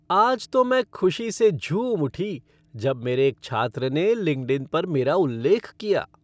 आज तो मैं ख़ुशी से झूम उठी जब मेरे एक छात्र ने लिंक्डइन पर मेरा उल्लेख किया।